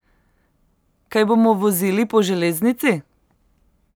Kaj bomo vozili po železnici?